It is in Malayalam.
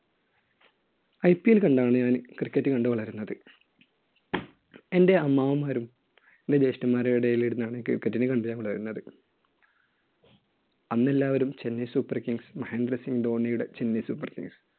IPL കണ്ടാണ് ഞാൻ cricket കണ്ടു വളരുന്നത്. എന്‍റെ അമ്മാവന്മാരും എന്‍റെ ജ്യേഷ്ഠന്മാരുടെയും ഇടയിലിരുന്നാണ് cricket നെ കണ്ടു ഞാൻ വളരുന്നത്. അന്ന് എല്ലാവരും chennai super kings മഹേന്ദ്രസിങ് ധോണിയുടെ chennai super kings